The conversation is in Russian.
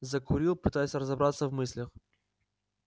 закурил пытаясь разобраться в мыслях